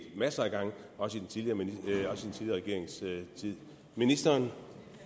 masser af gange også i den tidligere regerings tid ministeren